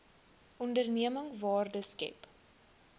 onderneming waarde skep